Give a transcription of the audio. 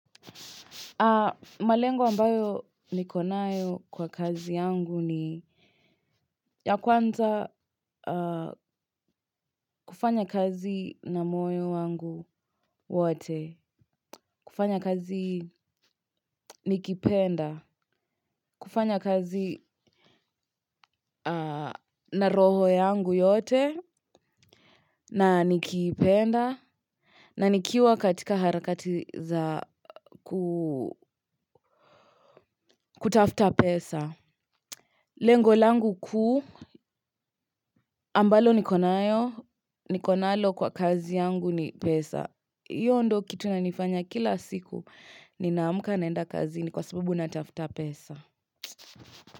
Malengo ambayo niko nayo kwa kazi yangu ni ya kwanza aa kufanyakazi na moyo wangu wate. Kufanya kazi nikipenda. Kufanya kazi na roho yangu yote. Na nikipenda na nikiwa katika harakati za kutafuta pesa. Lengo langu kuu ambalo niko nayo niko nalo kwa kazi yangu ni pesa hiyo ndo kitu inanifanya kila siku ninaamka naenda kazini kwa sababu na tafuta pesa.